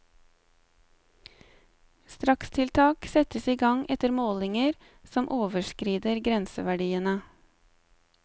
Strakstiltak settes i gang etter målinger som overskrider grenseverdiene.